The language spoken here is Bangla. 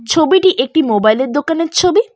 ছবিটি একটি মোবাইলের দোকানের ছবি।